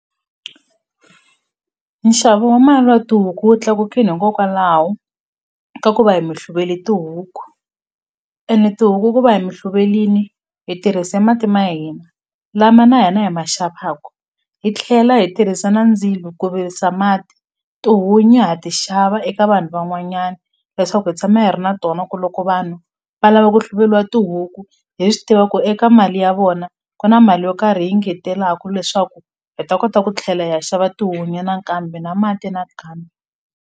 Nxavo wa mali wa tihuku wu tlakukini hikokwalaho ka ku va hi mi hluvele tihuku ene tihuku ku va hi mi hluvelini hi tirhise mati ma hina lama na hina hi ma xavaku hi tlhela hi tirhisa na ndzilo ku virisa mati tihunyi ha ti xava eka vanhu van'wanyana leswaku hi tshama hi ri na tona ku loko vanhu va lava ku hluveliwa tihuku hi swi tiva ku eka mali ya vona ku na mali yo karhi hi yi ngetelaku leswaku hi ta kota ku tlhela hi ya xava tihunyi nakambe na mati nakambe.